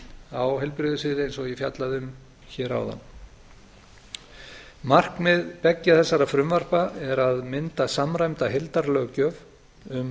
á heilbrigðissviði eins og ég fjallaði um hér áðan markmið beggja þessara frumvarpa er að mynda samræmda heildarlöggjöf um vísindarannsóknir